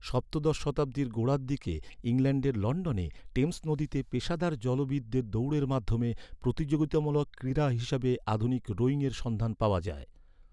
সপ্তদশ শতাব্দীর গোড়ার দিকে ইংল্যান্ডের লন্ডনে টেমস নদীতে পেশাদার জলবিদদের দৌড়ের মাধ্যমে প্রতিযোগিতামূলক ক্রীড়া হিসাবে আধুনিক রোয়িংয়ের সন্ধান পাওয়া যায়।